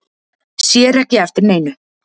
Sér ekki eftir neinu